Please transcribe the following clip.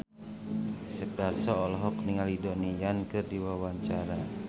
Asep Darso olohok ningali Donnie Yan keur diwawancara